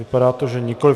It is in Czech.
Vypadá to, že nikoli.